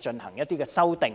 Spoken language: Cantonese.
進行一些修正。